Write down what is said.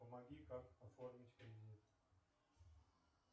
помоги как оформить кредит